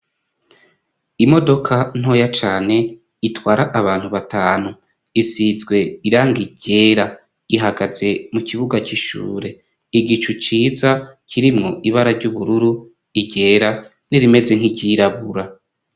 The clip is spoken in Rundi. Imodoka ntoya cane itwara abantu batanu, isizwe iranga igera ihagaze mu kibuga c'ishure igicu ciza kirimwo ibara ry'ubururu, iryera, n'irimeze nkiryirabura.